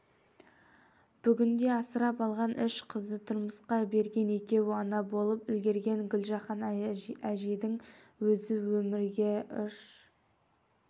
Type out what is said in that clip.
бүгінде асырап алған үш қызды тұрмысқа берген екеуі ана болып үлгерген гүлжахан әжейдің өзі өмірге ұш